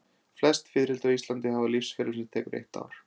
Flest fiðrildi á Íslandi hafa lífsferil sem tekur eitt ár.